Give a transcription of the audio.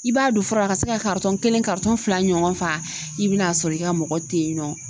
I b'a don fura la ka se ka kelen fila ɲɔgɔn fa, i be n'a sɔrɔ i ka mɔgɔ te yen nɔ.